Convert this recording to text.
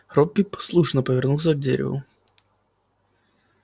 робби послушно повернулся к дереву